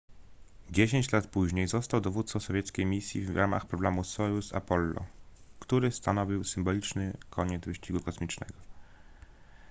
dziesięć lat później został dowódcą sowieckiej misji w ramach programu sojuz-apollo który stanowił symboliczny koniec wyścigu kosmicznego